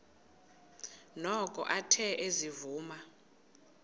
noko athe ezivuma